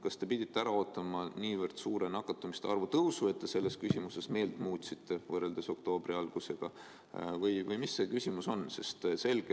Kas te pidite ära ootama nii suure nakatumiste arvu tõusu, et te selles küsimuses võrreldes oktoobri algusega meelt muutsite, või milles asi on?